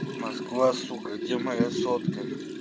москва сука где моя сотка